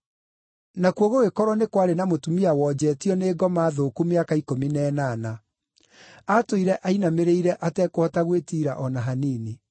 nakuo gũgĩkorwo nĩ kwarĩ na mũtumia wonjetio nĩ ngoma thũku mĩaka ikũmi na ĩnana. Atũire ainamĩrĩire atekũhota gwĩtiira o na hanini.